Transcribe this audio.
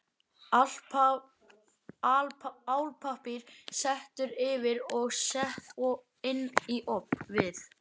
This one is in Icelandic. Álpappír settur yfir og sett inn í ofn við